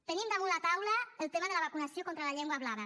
tenim damunt la taula el tema de la vacunació contra la llengua blava